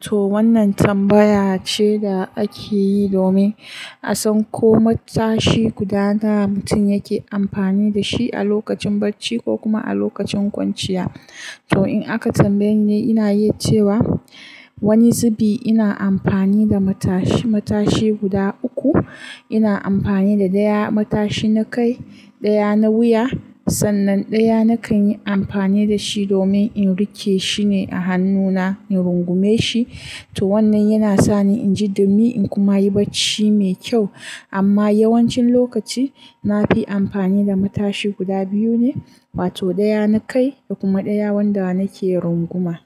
To wannan tambaya ce da ake yi domin a san ko matashi guda nawa mutum yake amfani da shi a lokacin bacci ko kuma a lokacin kwanciya. To in aka tambaye ni, ni ina yi cewa wani zubi ina amfani da matashi, matashi guda uku. Ina amfani da ɗaya matashi na kai, ɗaya na wuya, sannan ɗaya nakan yi amfani da shi domin in rike shi ne a hannuna in rungume shi. To wannan yana sa ni in ji dumi in kuma yi bacci mai kyau. Amma yawancin lokaci na fi amfani da matashi guda biyu ne, wato ɗaya na kai da kuma ɗaya wanda nake runguma.